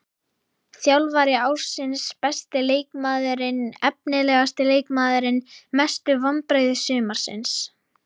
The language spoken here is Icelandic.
Þjálfari ársins Besti leikmaðurinn Efnilegasti leikmaðurinn Mestu vonbrigði sumarsins?